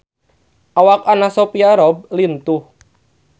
Awak Anna Sophia Robb lintuh